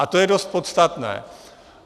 A to je dost podstatné.